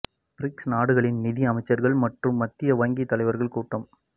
BRICS நாடுகளின் நிதி அமைச்சர்கள் மற்றும் மத்திய வங்கி தலைவர்கள் கூட்டம்